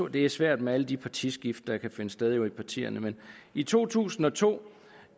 det er svært med alle de partiskift der jo kan finde sted i partierne men i to tusind og to